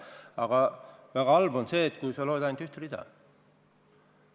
Aga väga halb on see, kui sa loed ainult ühte rida.